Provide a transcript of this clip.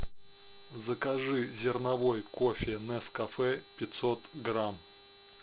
закажи зерновой кофе нескафе пятьсот грамм